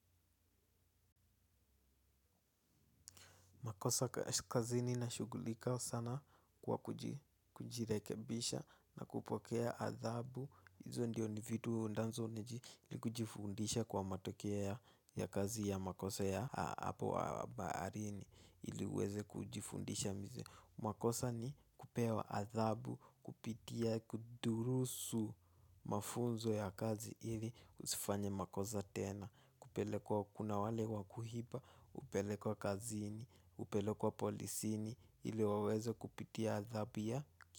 Makosa kazini nashugulika sana kwa kujirekebisha na kupokea adhabu. Hizo ndiyo ni vitu ndazo ni kujifundisha kwa matokea ya kazi ya makosa ya hapo wa baarini. Ili uweze kujifundisha mize. Makosa ni kupewa adhabu, kupitia kudurusu mafunzo ya kazi. Ili usifanye makosa tena. Kupelekwa kuna wale wakuhipa. Upelekwa kazini, upelekwa polisini. Ili wawezo kupitia adhabu ya.